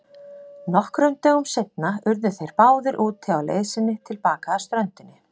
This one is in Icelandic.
Nokkrum dögum seinna urðu þeir báðir úti á leið sinni til baka að ströndinni.